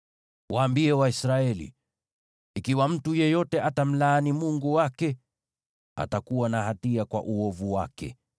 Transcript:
Waambie Waisraeli: ‘Ikiwa mtu yeyote atamlaani Mungu wake, atakuwa na hatia kwa uovu wake;